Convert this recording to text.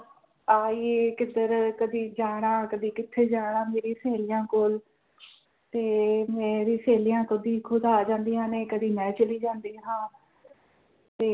ਆਈ ਕਿਥਰ ਕਦੀ ਜਾਣਾ ਕਦੀ ਕਿਥੇ ਜਾਣਾ ਮੇਰੀ ਸਹੇਲੀਆਂ ਕੋਲ ਤੇ ਮੇਰੀ ਸਹੇਲੀਆਂ ਕਦੀ ਖੁਦ ਆ ਜਾਂਦੀਆ ਨੇ ਕਦੀ ਮੈਂ ਚਲੀ ਜਾਂਦੀ ਹਾਂ ਤੇ